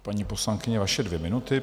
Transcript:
Paní poslankyně, vaše dvě minuty.